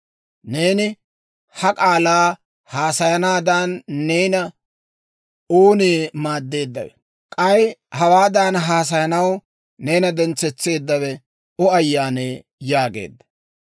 Neeni ha k'aalaa haasayanaadan neena oonee maaddeeddawe? K'ay hawaadan haasayanaw neena dentsetseedawe O ayyaanee?» yaageedda.